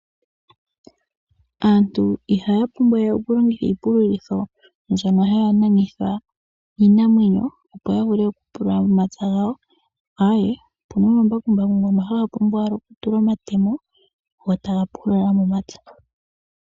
Aantu ihaya pumbwa we oku longitha iipululitho mbyono haya nanitha iinamwenyo opo ya vule oku pulula momapya gawo , aawe opuna omambakumbaku ngono haga pumbwa owala oku tulwa omatemo, go taga pulula momapya.